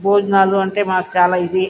భోజనాలు అంటే మాకు చాలా ఇది.